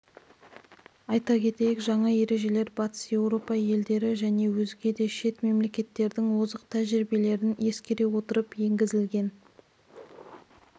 айта кетейік жаңа ережелер батыс еуропа елдері және өзге да шет мемлекеттердің озық тәжірибелерін ескере отырып енгізілген